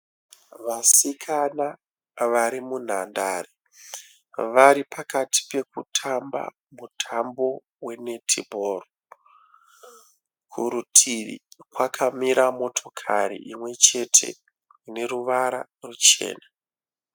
Vasikana varimunhandare. Varipakati pokutamba mutambo we(netball). Kurutivi kwakamira motokari imwechete ineruvara ruchena.